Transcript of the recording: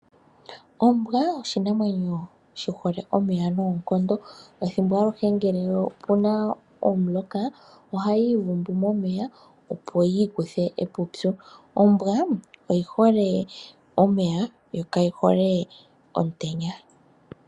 Ombwa oshinamwanyo shi hole omeya noonkondo, ethimbo aluhe ngele opuna omuloka oha yi ivundu momeya opo yi ikuthe eepupyu. Ombwa oyi hole omeya yo kayi hole omutenya.